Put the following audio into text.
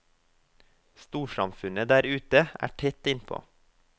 Storsamfunnet der ute er tett innpå.